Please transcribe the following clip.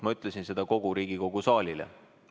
Ma ütlesin seda kogu Riigikogu saalile.